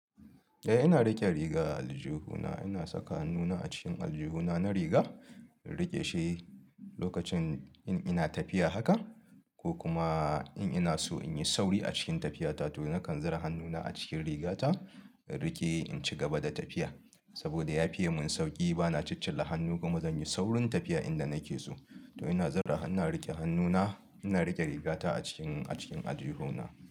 Eh ina riƙe riga aljihuna, ina saka hannuna a cikin aljihuna na riga in riƙe shi lokacin in ina tafiya haka ko kuma in ina so in yi sauri a cikin tafiyata to nakan zura hannuna a cikin rigata in riƙe in ci gaba da tafiya. Saboda ya fiye mun sauƙi bana ciccila hannu kuma zanyi saurin tafiya to ina zura, ina riƙe hannuna ina riƙe rigata a cikin, a cikin aljihuna.